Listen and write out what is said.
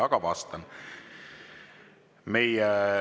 Aga ma vastan.